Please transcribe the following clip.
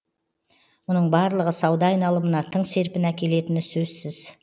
мұның барлығы сауда айналымына тың серпін әкелетіні сөзсіз